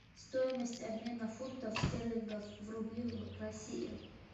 стоимость обмена фунтов стерлингов в рубли в россии